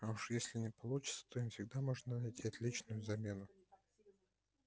а уж если не получится то им всегда можно найти отличную замену